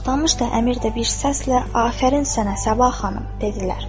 Toxtamış da, Əmir də bir səslə: “Afərin sənə, Səbah xanım” dedilər.